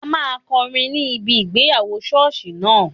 A máa kọrin ní ibi ìgbéyàwó sọ́ọ̀sì náà